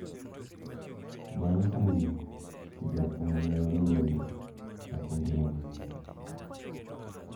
Bang` kuyo to jok ma ne oliel chako ngima manyien.